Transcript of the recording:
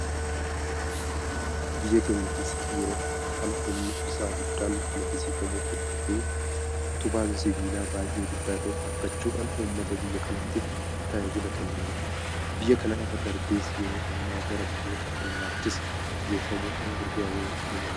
Biyya keenya keessatti yeroo ammaa kana humni ibsaa guddaan maddisiifamuu hordofee utubaan sibaalaa baay'ee guddaa ta'e dhaabbachuudhaan uummata biyya kanaatiif tajaajila kennaa jira. Biyya kana irra darbees yeroo ammaa gara biyyoota hollaattis geeffamuudhaan gurguramuu eegaleera.